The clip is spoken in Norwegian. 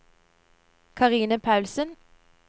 Karine Paulsen